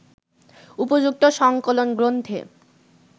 উপযুক্ত সংকলন গ্রন্থে